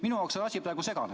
Minu jaoks on asi praegu segane.